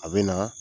A bɛ na